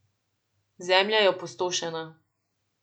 Zemlja je opustošena.